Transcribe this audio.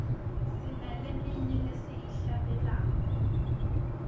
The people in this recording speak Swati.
sinaleminye lesiyihlabelelako